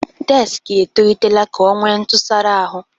Dekisi etolitela ka ọ nwee ntụsara ahụ.